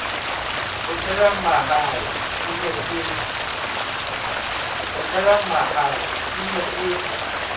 kgutlelang mahae e ne e